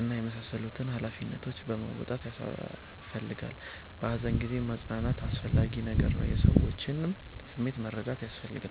እና የመሳሰሉትን ሃላፊነቶች መወጣት ያሰፈልጋላ። በሃዘን ጊዜ ማፅናናት አስፈላጊ ነገር ነዉ። የሰዎችንም ስሜት መረዳት ያስፈልጋል